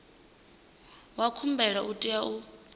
wa khumbelo u tea u